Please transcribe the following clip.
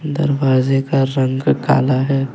दरवाजे का रंग काला है।